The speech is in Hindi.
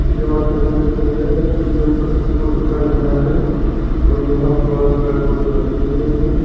ये वाले दृश्य में प्रकृति को दर्शाया गया है और यहां पर पेड़ पौधे लगे हुए हैं।